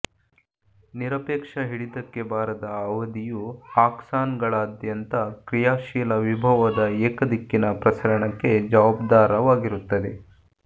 ನಿರಪೇಕ್ಷ ಹಿಡಿತಕ್ಕೆ ಬಾರದ ಅವಧಿಯು ಆಕ್ಸಾನ್ಗಳಾದ್ಯಂತ ಕ್ರಿಯಾಶೀಲ ವಿಭವದ ಏಕದಿಕ್ಕಿನ ಪ್ರಸರಣಕ್ಕೆ ಜವಾಬ್ದಾರವಾಗಿರುತ್ತದೆ